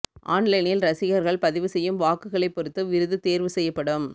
ஆன்லைனில் ரசிகர்கள் பதிவு செய்யும் வாக்குகளை பொறுத்து விருது தேர்வு செய்யப்படும்